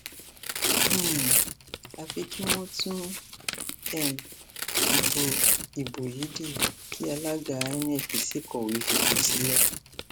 um àfi kí wọn tún um ìbò ìbò yìí dí kí alága inec sì kọwé fipò sílẹ